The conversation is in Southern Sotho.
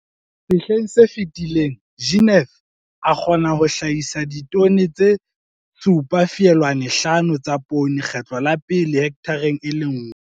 Sehleng se fetileng, Jeneth a kgona ho hlahisa ditone tse 7, 5 tsa poone kgetlo la pele hekthareng e le nngwe.